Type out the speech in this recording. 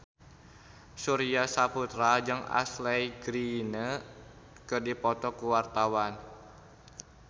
Surya Saputra jeung Ashley Greene keur dipoto ku wartawan